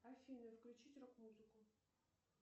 афина включить рок музыку